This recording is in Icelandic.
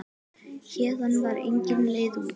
Héðan var engin leið út.